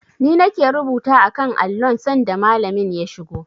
Ni ne nake rubuta a kan allon sanda Malamin ya shigo.